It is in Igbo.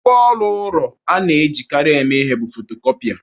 Ngwa ụlọ ọrụ a na-ejikarị eme ihe bụ fotokopia.